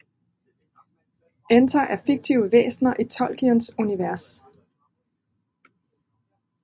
Enter er fiktive væsner i Tolkiens univers